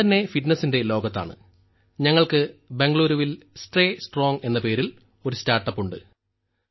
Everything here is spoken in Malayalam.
ഞാൻ തന്നെ ഫിറ്റ്നസിന്റെ ലോകത്താണ് ഞങ്ങൾക്ക് ബംഗളുരുവിൽ സ്റ്റേ സ്ട്രോങ് എന്ന പേരിൽ ഒരു സ്റ്റാർട്ട്അപ്പ് ഉണ്ട്